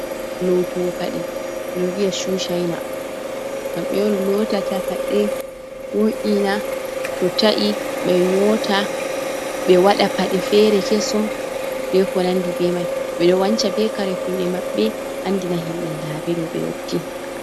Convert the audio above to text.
Lootowo paɗe, ɓe ɗo vi'a cuu cayna. Kamɓe on lootata paɗe, wo'’ina to ta’i, ɓe nyoota, ɓe waɗa paɗe feere kesum, be ko nanndi be may. Ɓe ɗo wanca be kare kuuɗe maɓɓe, anndina himɓe ndaa ɓe ɗo, ɓe yotti.